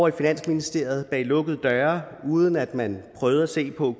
i finansministeriet bag lukkede døre uden at man prøvede at se på